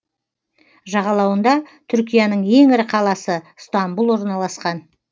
жағалауында түркияның ең ірі қаласы стамбұл орналасқан